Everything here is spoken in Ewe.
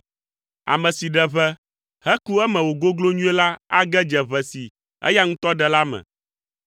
Ame si ɖe ʋe, heku eme wògoglo nyuie la age dze ʋe si eya ŋutɔ ɖe la me.